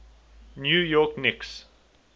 new york knicks